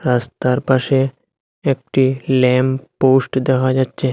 রাস্তার পাশে একটি ল্যাম্প পোস্ট দেখা যাচ্ছে।